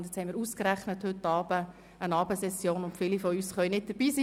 Nun haben wir ausgerechnet heute eine Abendsession, und viele von uns können nicht dabei sein.